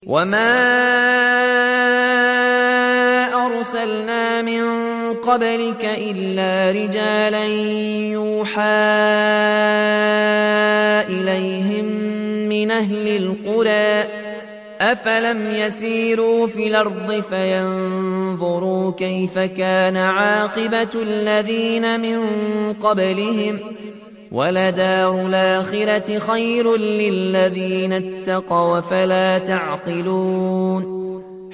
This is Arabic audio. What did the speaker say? وَمَا أَرْسَلْنَا مِن قَبْلِكَ إِلَّا رِجَالًا نُّوحِي إِلَيْهِم مِّنْ أَهْلِ الْقُرَىٰ ۗ أَفَلَمْ يَسِيرُوا فِي الْأَرْضِ فَيَنظُرُوا كَيْفَ كَانَ عَاقِبَةُ الَّذِينَ مِن قَبْلِهِمْ ۗ وَلَدَارُ الْآخِرَةِ خَيْرٌ لِّلَّذِينَ اتَّقَوْا ۗ أَفَلَا تَعْقِلُونَ